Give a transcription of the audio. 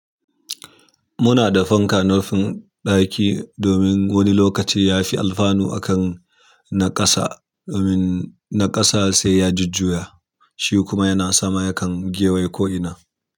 Muna da fanka a nufin ɗaki domin wani lokaci ya fi alfanu akan na ƙasa, domin na ƙasa sai ya jujjuya, shi kuma yana sama yakan gewaya ko ina.